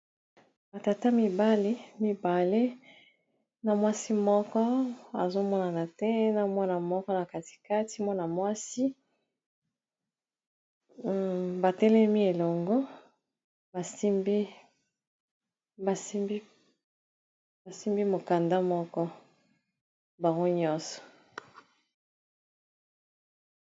Batata mibale mibale na mwasi moko azomonana te, na mwana moko na katikati mwana mwasi batelemi elongo basimbi mokanda moko baro nyonso